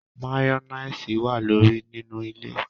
Mayonnaise wa lori nínú ilè